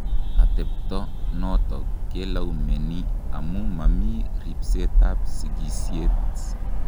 Atebto notok kelaumeni amu mami ribsetab sigisiet.